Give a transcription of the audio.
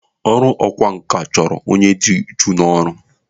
Ọrụ ọkwa nkà chọrọ onye dị uchu n'ọrụ.